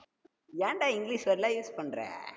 ஏன்டா english word லா use பண்ற